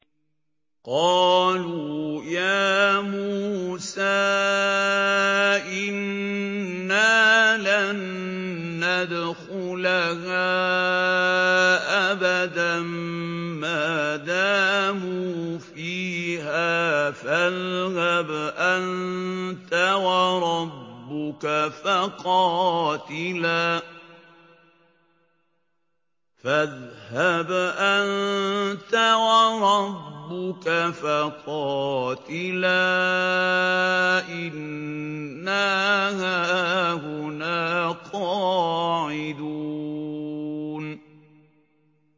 قَالُوا يَا مُوسَىٰ إِنَّا لَن نَّدْخُلَهَا أَبَدًا مَّا دَامُوا فِيهَا ۖ فَاذْهَبْ أَنتَ وَرَبُّكَ فَقَاتِلَا إِنَّا هَاهُنَا قَاعِدُونَ